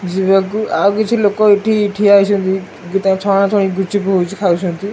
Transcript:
ଯିବାକୁ ଆଉ କିଛି ଲୋକ ଏଠି ଠିଆ ହେଇଛନ୍ତି ତା ଛଣଛଣି ଗୁପଚୁପ୍ ଖାଉଛନ୍ତି।